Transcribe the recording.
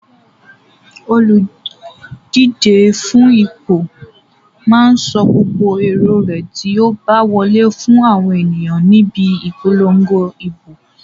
Olùdíje fún ipò máa sọ gbogbo èrò rẹ̀ tí ó bá wọlé fún àwọn ènìyàn níbi ìpolongo ìbò.